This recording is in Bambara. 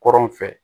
Kɔrɔn fɛ